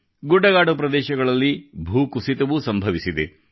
ಗುಡ್ಡಗಾಡು ಪ್ರದೇಶಗಳಲ್ಲಿ ಭೂಕುಸಿತವೂ ಸಂಭವಿಸಿದೆ